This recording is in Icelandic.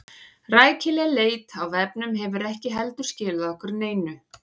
Rækileg leit á vefnum hefur ekki heldur skilað okkur neinu.